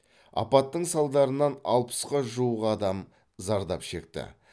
апаттың салдарынан алпысқа жуық адам зардап шекті